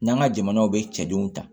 N'an ka jamanaw bɛ cɛdenw ta